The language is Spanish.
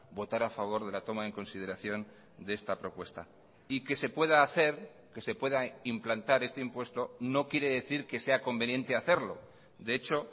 votar a favor de la toma en consideración de esta propuesta y que se pueda hacer que se pueda implantar este impuesto no quiere decir quesea conveniente hacerlo de hecho